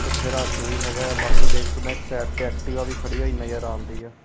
ਇੱਥੇ ਰਸ ਵੀ ਹੈਗਾ ਆ ਬਾਕੀ ਦੇਖ ਸਕਦੇ ਆਂ ਇੱਕ ਸਾਈਡ ਤੇ ਐਕਟੀਵਾ ਵੀ ਖੜੀ ਹੋਈ ਨਜ਼ਰ ਆਂਦੀ ਐ।